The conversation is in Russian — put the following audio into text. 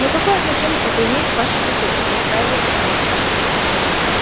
но какое отношение это имеет к вашей профессии настаивал артём